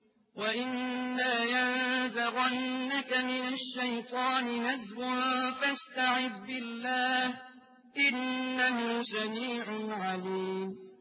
وَإِمَّا يَنزَغَنَّكَ مِنَ الشَّيْطَانِ نَزْغٌ فَاسْتَعِذْ بِاللَّهِ ۚ إِنَّهُ سَمِيعٌ عَلِيمٌ